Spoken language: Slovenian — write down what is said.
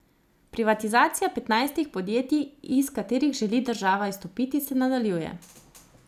Privatizacija petnajstih podjetij, iz katerih želi država izstopiti, se nadaljuje.